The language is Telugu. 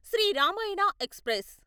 శ్రీ రామాయణ ఎక్స్ప్రెస్